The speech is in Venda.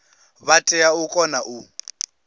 vha tea u kona u